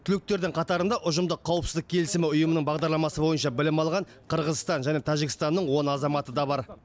түлектердің қатарында ұжымдық қауіпсіздік келісімі ұйымының бағдарламасы бойынша білім алған қырғызстан және тәжікстанның он азаматы да бар